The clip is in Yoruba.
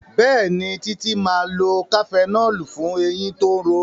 Béèni Titi má lọ cafenol fún ẹyìn tó ń ró.